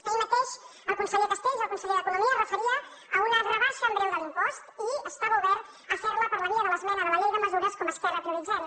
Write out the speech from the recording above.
ahir mateix el conseller castells el conseller d’economia es referia a una rebaixa en breu de l’impost i estava obert a fer la per la via de l’esmena de la llei de mesures com a esquerra prioritzem